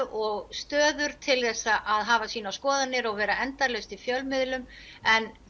og aðstöður til að að hafa sínar skoðanir og vera endalaust í fjölmiðlum en